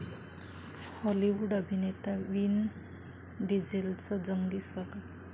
Hollywood अभिनेता Vin डिझेलचं जंगी स्वागत